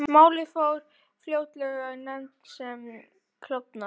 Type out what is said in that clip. Málið fór fljótlega í nefnd sem klofnaði.